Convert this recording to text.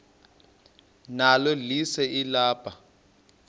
nalo lise libaha